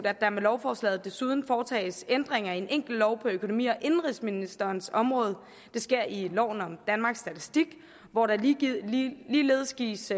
at der med lovforslaget desuden foretages ændringer i en enkelt lov på økonomi og indenrigsministerens område det sker i lov om danmarks statistik hvor der ligeledes gives